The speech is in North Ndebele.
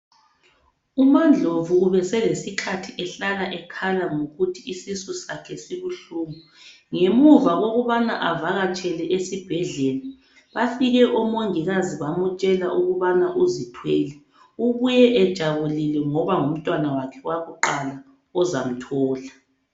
UmaNdlovu ubesele sikhathi ehlala ekhala ngokuthi isisu sakhe sibuhlungu ngemuva kokubana avakatshele esibhedlela bafike omongikazi bamtshela ukubana uzithwele ubuye ejabulile ngoba ngumntwana wakhe owakuqala ozamthola.